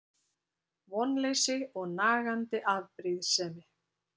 Vonleysi og nagandi afbrýðisemi.